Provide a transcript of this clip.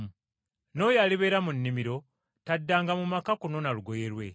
N’oyo alibeera mu nnimiro taddangayo eka okunonayo olugoye lwe.